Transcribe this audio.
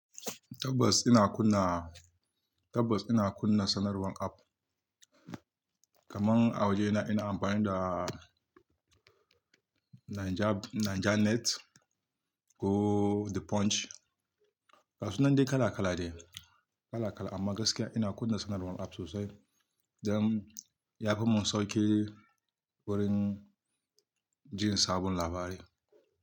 Tabbas ina kunna, tabbas ina kunna sanarwan app. Kaman a waje ina, ina amfani da Naijanet ko The Punch. Gasunan dai kala kala de, kala kala amma gaskiya ina kunna sanarwan app sosai, don ya fimun sauƙi wurin jin sabon labari.